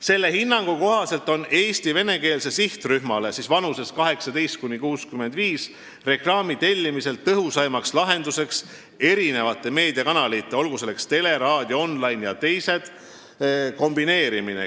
Selle hinnangu kohaselt on reklaami tellimisel Eesti venekeelsele sihtrühmale vanuses 18–65 aastat tõhusaim lahendus eri meediakanalite kombineerimine.